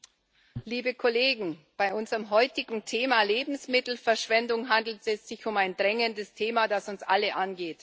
Herr Präsident, liebe Kollegen! Bei unserem heutigen Thema Lebensmittelverschwendung handelt es sich um ein dringendes Thema, das uns alle angeht.